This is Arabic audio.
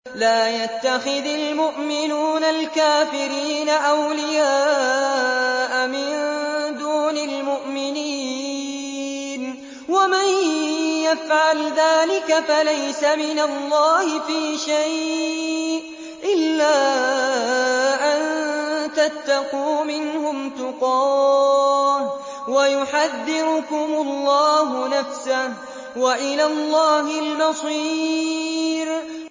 لَّا يَتَّخِذِ الْمُؤْمِنُونَ الْكَافِرِينَ أَوْلِيَاءَ مِن دُونِ الْمُؤْمِنِينَ ۖ وَمَن يَفْعَلْ ذَٰلِكَ فَلَيْسَ مِنَ اللَّهِ فِي شَيْءٍ إِلَّا أَن تَتَّقُوا مِنْهُمْ تُقَاةً ۗ وَيُحَذِّرُكُمُ اللَّهُ نَفْسَهُ ۗ وَإِلَى اللَّهِ الْمَصِيرُ